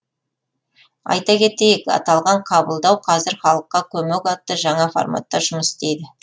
айта кетейік аталған қабылдау қазір халыққа көмек атты жаңа форматта жұмыс істейді